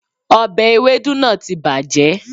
òbe ewédú náà ti bàjẹ́